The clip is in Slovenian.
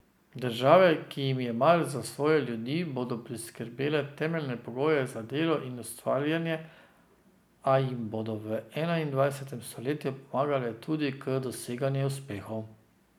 Države, ki jim je mar za svoje ljudi, bodo priskrbele temeljne pogoje za delo in ustvarjanje, a jim bodo v enaindvajsetem stoletju pomagale tudi k doseganju uspehov.